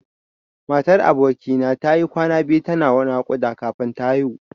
Matar aboki na tayi kwana biyu tana naƙuda kafin ta haihu.